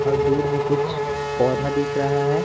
और दूर में कुछ पौधा दिख रहा है।